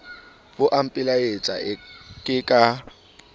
bo a mpelaetsa ke ka